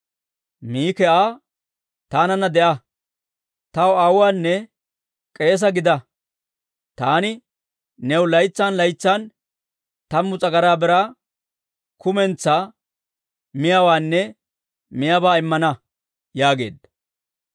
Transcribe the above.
Miki Aa, «Taananna de'a; taw aawuwaanne k'eese gida. Taani new laytsan laytsan tammu s'agaraa biraa, kumentsaa mayuwaanne miyaabaa immana» yaageedda.